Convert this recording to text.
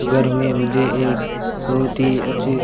घर में मुझे एक बहोत ही अच्छी--